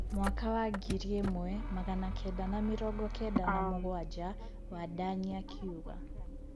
mwaka wa ngiri ĩmwe magana kenda na mĩrongo kenda na mũgwanja. Wandanyi akiuga